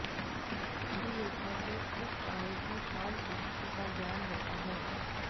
अभिलेखों से इस काल की शांत स्थिति का ज्ञान होता है